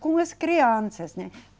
Com as crianças, né?